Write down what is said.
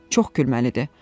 Çox gülməlidir.